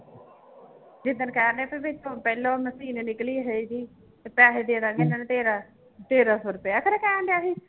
ਜਿੱਦਣ ਕਹਿੰਦੇ ਪਹਿਲੋਂ ਮਸ਼ੀਨ ਨਿਕਲੀ ਹੈਗੀ ਤੇ ਪੈਸੇ ਦੇ ਦੇਵਾਂਗੇ ਇਹਨਾਂ ਨੂੰ ਤੇਰਾ ਤੇਰਾਂ ਸੌ ਰੁਪਇਆ ਫਿਰ ਕਹਿਣਡਿਆ ਸੀ